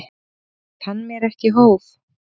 Kann mér ekki hóf.